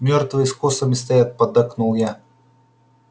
мёртвые с косами стоят поддакнул я